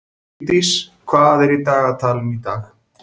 Vigdís, hvað er í dagatalinu í dag?